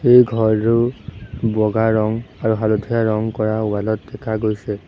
এই ঘৰটোৰ বগা ৰং আৰু হালধীয়া ৰং কৰা ৱাল ত দেখা গৈছে।